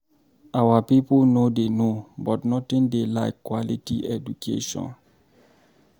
Our people no dey no but nothing dey like quality education.